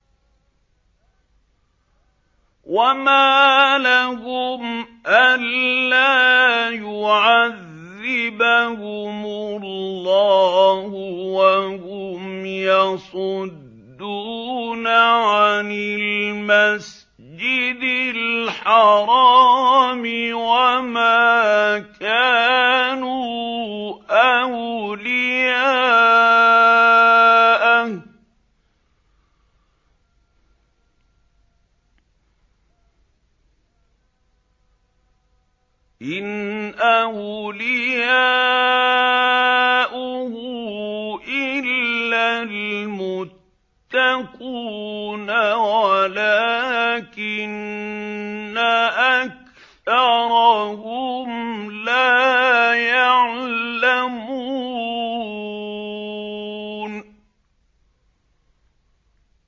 وَمَا لَهُمْ أَلَّا يُعَذِّبَهُمُ اللَّهُ وَهُمْ يَصُدُّونَ عَنِ الْمَسْجِدِ الْحَرَامِ وَمَا كَانُوا أَوْلِيَاءَهُ ۚ إِنْ أَوْلِيَاؤُهُ إِلَّا الْمُتَّقُونَ وَلَٰكِنَّ أَكْثَرَهُمْ لَا يَعْلَمُونَ